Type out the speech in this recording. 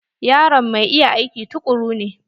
Yaron mai iya aiki tukuru ne.